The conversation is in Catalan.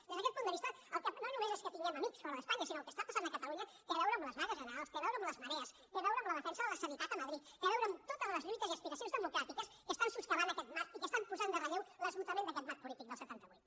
des d’aquest punt de vista no només és que tinguem amics fora d’espanya sinó que el que està passant a catalunya té a veure amb les vagues generals té a veure amb les marees té a veure amb la defensa de la sanitat a madrid té a veure amb totes les lluites i aspiracions democràtiques que estan soscavant aquest marc i que estan posant en relleu l’esgotament d’aquest marc polític del setanta vuit